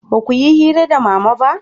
ba ku yi hira da mama ba?